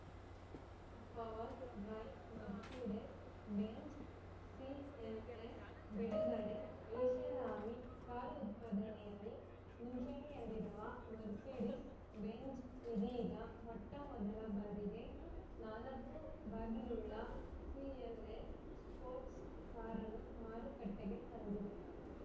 power drive Mercedes Benz CLS ಬಿಡುಗಡೆ ಐಶಾರಾಮಿ car ಉತ್ಪಾದನೆಯಲ್ಲಿ ಮುಂಚೂಣಿಯಲ್ಲಿರುವ ಮರ್ಸಿಡಿಸ್‌ ಬೆಂಝ್‌ ಇದೀಗ ಮೊಟ್ಟಮೊದಲ ಬಾರಿಗೆ ನಾಲ್ಕು ಬಾಗಿಲುಳ್ಳ ಸಿಎಲ್‌ಎಸ್‌ ಸ್ಪೋರ್ಟ್ಸ್ ಕಾರನ್ನು ಮಾರುಕಟ್ಟೆಗೆ ತಂದಿದೆ